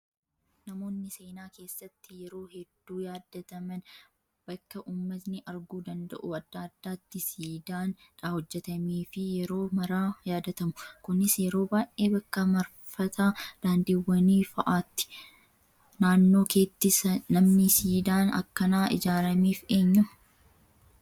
Namoonni seenaa keessatti yeroo hedduu yaadataman bakka uummatni arguu danda'u adda addaatti siidaan hojjatamee fi yeroo maraa yadatamu. Kunis yeroo baay'ee bakka marfata daandiiwwanii fa'aati. Naannoo keetti namni siidaan akkanaa ijaarameef eenyu?